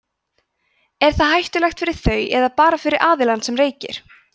er það hættulegt fyrir þau eða bara fyrir aðilann sem reykir